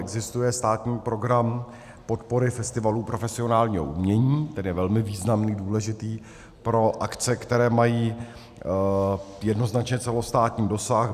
Existuje státní Program podpory festivalů profesionálního umění, který je velmi významný, důležitý pro akce, které mají jednoznačně celostátní dosah.